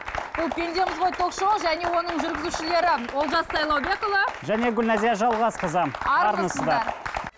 бұл пендеміз ғой ток шоуы және оның жүргізушілері олжас сайлаубекұлы және гүлназия жалғасқызы армысыздар